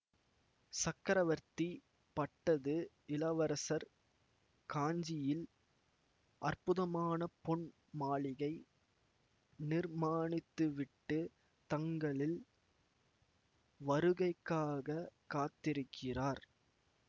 சக்கரவர்த்தி பட்டது இளவரசர் காஞ்சியில் அற்புதமான பொன் மாளிகை நிர்மாணித்துவிட்டுத் தங்களிள் வருகைக்காகக் காத்திருக்கிறார்